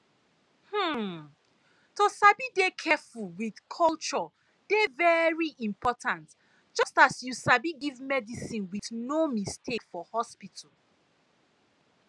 hmm to sabi dey careful with culture dey very important just as you sabi give medicine with no mistake for hospital